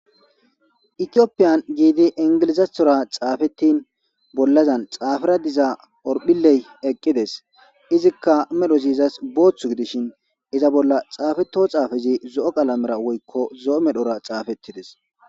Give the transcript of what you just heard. Ethiopian giidi ingilizathora xaafetin bollazan xaafera diza horphiley eqides izika medhozi izas boothu gidishin iza bolla xaafeto xaafezi zo'o qalameta woyko zo'o medhora xaafetides.